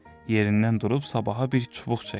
Yerindən durub Sabaha bir çubuq çəkdi.